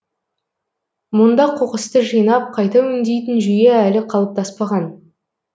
мұнда қоқысты жинап қайта өңдейтін жүйе әлі қалыптаспаған